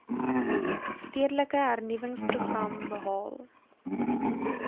stedelike hernuwingsprogram behaal